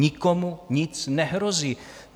Nikomu nic nehrozí.